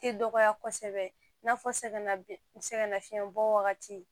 Tɛ dɔgɔya kosɛbɛ i n'a fɔ sɛgɛnna sɛgɛlafiɲɛbɔ wagati